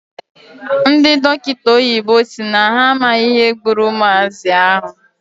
Ndị dọkịta oyibo si na ha amaghị ihe gburu ụmụazị ahụ.